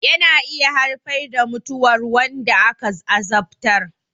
Yana iya haifar da mutuwar wanda aka azabtar